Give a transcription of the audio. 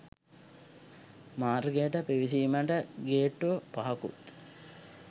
මාර්ගයට පිවිසීමට ගේට්‌ටු පහකුත්